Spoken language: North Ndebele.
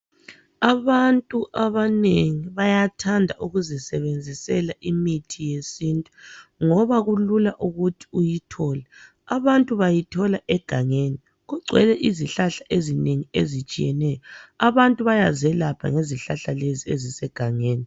Abantu abanengi bayathanda ukuzisebenzisela imithi yesintu ngoba kulula ukuthi uyithole abantu bayithola egangeni kugcwele izihlahla ezinengi ezitshiyeneyo abantu bayazelapha ngezihlahla lezi ezise gangeni